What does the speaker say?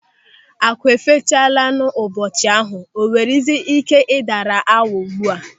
Akụ e fechalanu n'ụbọchị ahụ, o nweziri ike ka ọ daara awọ ugbu a?